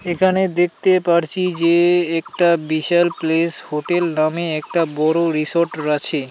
এখানে দেখতে পারছি যে একটা বিশাল প্লেস হোটেল নামে একটা বড়ো রিসর্ট রাছে।